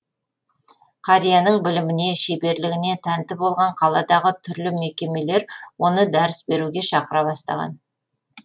қарияның біліміне шеберлігіне тәнті болған қаладағы түрлі мекемелер оны дәріс беруге шақыра бастаған